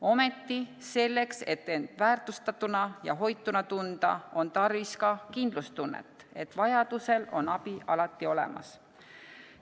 Ometi selleks, et end väärtustatuna ja hoituna tunda, on tarvis ka kindlustunnet, et vajaduse korral on abi alati olemas.